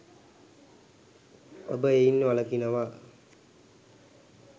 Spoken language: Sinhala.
ඔබ එයින් වලකිනවා.